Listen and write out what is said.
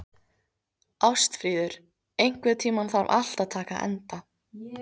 Ástfríður, einhvern tímann þarf allt að taka enda.